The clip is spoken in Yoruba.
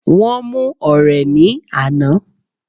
Wón mú ọ̀rẹ̀ ní àná